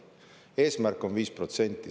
Eesmärk on 5%.